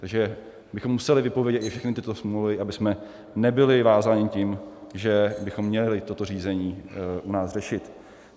Takže bychom museli vypovědět i všechny tyto smlouvy, abychom nebyli vázáni tím, že bychom měli toto řízení u nás řešit.